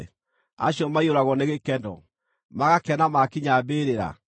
acio maiyũragwo nĩ gĩkeno magakena maakinya mbĩrĩra?